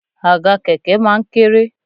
Àga kẹ̀kẹ́ máa ń kéré